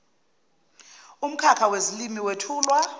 umkhakha wezilimi wethulwa